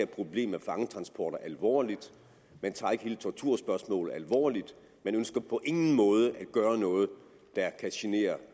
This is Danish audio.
problem med fangetransporter alvorligt man tager ikke hele torturspørgsmålet alvorligt man ønsker på ingen måde at gøre noget der kan genere